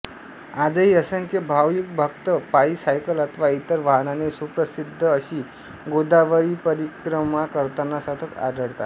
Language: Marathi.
आजही असंख्य भाविकभक्त पायीं सायकल अथवा इतर वाहनाने सुप्रसिद्ध अशी गोदावरीपरिक्रमा करताना सतत आढळतांत